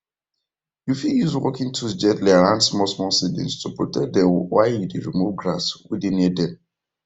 you fit use working tools gently around smallsmall seedlings to protect dem while you dey remove grass wey dey near dem